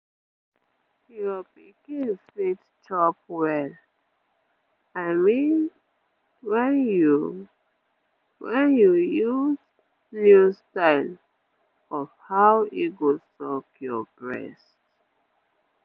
your pikin fit chop well i mean when you when you use new style of how e go suck your breast